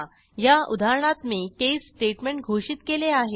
ह्या उदाहरणात मी केस स्टेटमेंट घोषित केले आहे